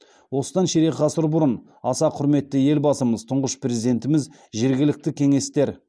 осыдан ширек ғасыр бұрын аса құрметті елбасымыз тұңғыш президентіміз жергілікті кеңестер